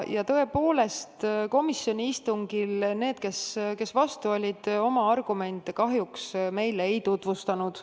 Tõepoolest, komisjoni istungil need, kes olid eelnõu vastu, oma argumente meile kahjuks ei tutvustanud.